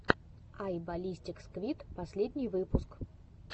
ай баллистик сквид последний выпуск